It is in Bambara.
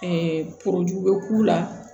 bɛ k'u la